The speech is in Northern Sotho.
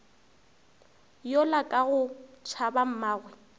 yola ka go tšhaba mmagwe